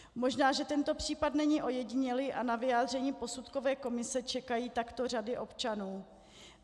Možná že tento případ není ojedinělý a na vyjádření posudkové komise čekají takto řady občanů.